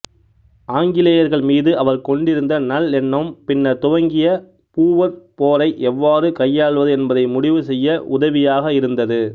ஆங்கிலேயர்கள் மீது அவர் கொண்டிருந்த நல்லெண்ணம்பின்னர் துவங்கிய பூவர் போரை எவ்வாறு கையாள்வது என்பதை முடிவு செய்ய உதவியாக இருந்தது